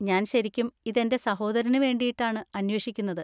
ഞാൻ ശരിക്കും ഇതെൻ്റെ സഹോദരന് വേണ്ടിയിട്ടാണ് അന്വേഷിക്കുന്നത്.